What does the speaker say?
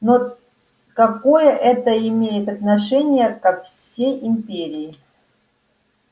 но какое это имеет отношение ко всей империи